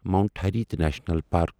Mount Harriet National park